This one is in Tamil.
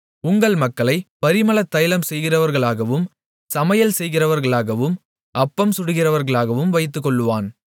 உங்கள் மகள்களைப் பரிமளதைலம் செய்கிறவர்களாகவும் சமையல்செய்கிறவர்களாகவும் அப்பம் சுடுகிறவர்களாகவும் வைத்துக்கொள்ளுவான்